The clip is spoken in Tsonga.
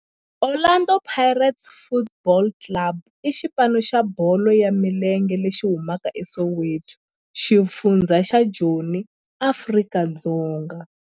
Orlando Pirates Football Club i xipano xa bolo ya milenge lexi humaka eSoweto, xifundzha xa Joni, Afrika-Dzonga.